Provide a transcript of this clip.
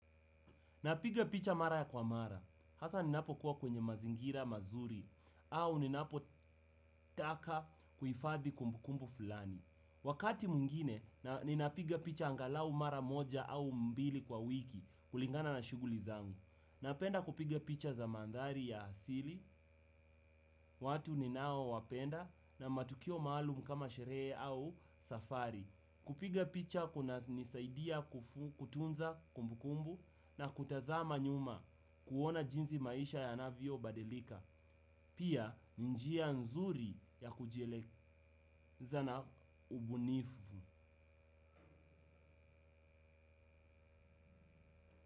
Napiga picha mara kwa mara. Hasa ninapokuwa kwenye mazingira mazuri au ninapotaka kuhifadhi kumbukumbu fulani. Wakati mwingine, ninapiga picha angalau mara moja au mbili kwa wiki kulingana na shughuli zangu. Napenda kupiga picha za mandhari ya asili, watu ninaowapenda na matukio maalumu kama sherehe au safari. Kupiga picha kunanisaidia kutunza kumbukumbu na kutazama nyuma kuona jinsi maisha yanavyobadilika, pia ni njia nzuri ya kujieleza na ubunifu.